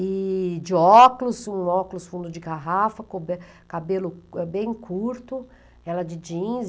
E de óculos, um óculos fundo de garrafa, cobe, cabelo bem curto, ela de jeans.